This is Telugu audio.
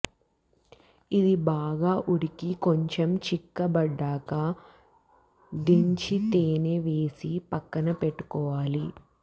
ఇది బాగా ఉడికి కొంచెం చిక్కబడ్డాక దించి తేనె వేసి పక్కన పెట్టుకోవాలి